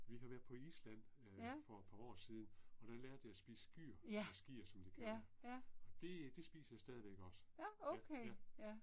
Vi har været på Island øh for et par år siden og der lærte jeg at spise skyr, eller sgir som de kalder det. Det det spiser jeg stadigvæk også. Ja, ja